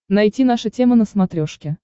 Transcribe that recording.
найти наша тема на смотрешке